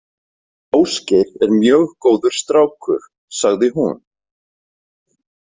Ásgeir er mjög góður strákur, sagði hún.